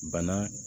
Bana